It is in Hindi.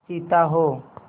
चीता हो